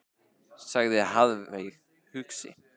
sagði Heiðveig hugsi.